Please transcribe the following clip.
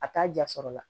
A t'a jasɔrɔ la